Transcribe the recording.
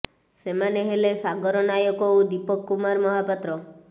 ସେମାନେ ହେଲେ ସାଗର ନାୟକ ଓ ଦୀପକ କୁମାର ମହାପାତ୍ର